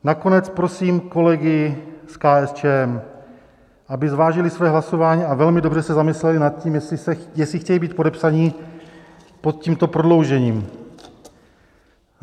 Nakonec prosím kolegy z KSČM, aby zvážili své hlasování a velmi dobře se zamysleli nad tím, jestli chtějí být podepsaní pod tímto prodloužením.